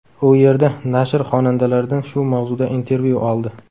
U yerda nashr xonandalardan shu mavzuda intervyu oldi.